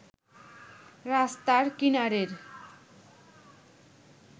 রাস্তার কিনারের